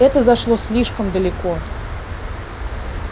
это зашло слишком далеко